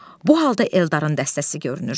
Bu halda Eldarın dəstəsi görünür.